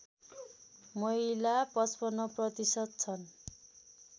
महिला ५५ प्रतिशत छन्